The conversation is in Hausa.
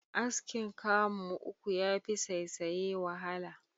Askin kamu uku yafi saisaye wahala.